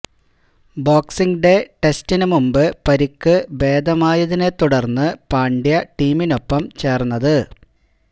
boxing day ടെസ്റ്റിന് മുമ്പ് പരിക്ക് ഭേദമായതിനെ തുടര്ന്ന് പാണ്ഡ്യ ടീമിനൊപ്പം ചേര്ന്നത്